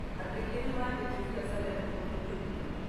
Andũ aingĩ nĩmanjitie biacara ino kũndũ kũingĩ.